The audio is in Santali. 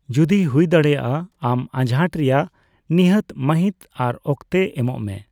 ᱡᱚᱫᱤ ᱦᱩᱭᱫᱟᱲᱮᱭᱟᱼᱟ, ᱟᱢ ᱟᱸᱡᱷᱟᱴ ᱨᱮᱭᱟᱜ ᱱᱤᱦᱟᱹᱛ ᱢᱟᱹᱦᱤᱛ ᱟᱨ ᱚᱠᱛᱮ ᱮᱢᱚᱜ ᱢᱮ ᱾